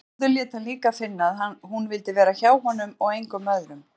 Gerður lét hann líka finna að hún vildi vera hjá honum og engum öðrum.